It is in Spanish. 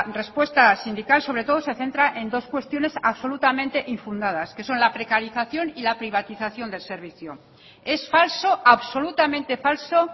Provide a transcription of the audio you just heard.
respuesta sindical sobre todo se centra en dos cuestiones absolutamente infundadas que son la precarización y la privatización del servicio es falso absolutamente falso